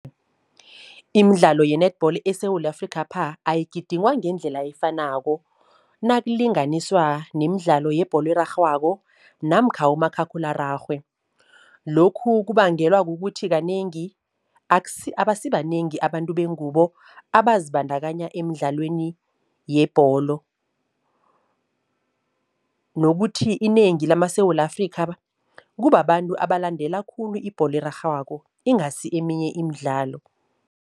Imidlalo ye-netball eSewula Afrikhapha ayigidingwa ngendlela efanako, nakulinganiswa nemidlalo yebholo erarhwako namkha umakhakhulararhwe. Lokhu kubangelwa kukuthi kanengi abasibanengi abantu bengubo abazibandakanya emidlalweni yebholo nokuthi inengi lamaSewula Afrikha kubababantu abalandela khulu ibholo erarhwako ingasi eminye imidlalo.